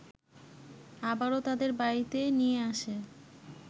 আবারো তাদের বাড়িতে নিয়ে আসে